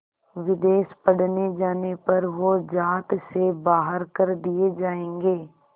विदेश पढ़ने जाने पर वो ज़ात से बाहर कर दिए जाएंगे